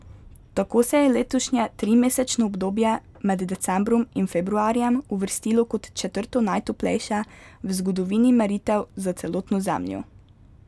Tako se je letošnje trimesečno obdobje med decembrom in februarjem uvrstilo kot četrto najtoplejše v zgodovini meritev za celotno Zemljo.